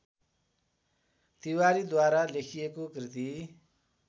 तिवारीद्वारा लेखिएको कृति